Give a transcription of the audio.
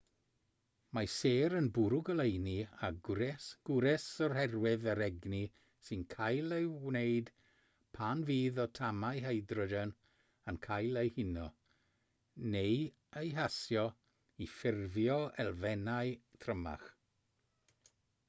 mae sêr yn bwrw goleuni a gwres oherwydd yr egni sy'n cael ei wneud pan fydd atomau hydrogen yn cael eu huno neu eu hasio i ffurfio elfennau trymach